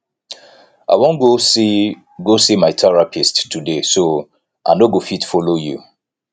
i wan go see wan go see my therapist today so i no go fit follow you